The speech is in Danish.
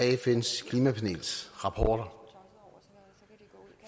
fns klimapanels rapporter